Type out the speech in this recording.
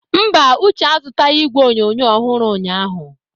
Mba, Uche azụtaghị igwe onyonyo ọhụrụ ụnyahụ.